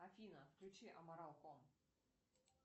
афина включи аморалком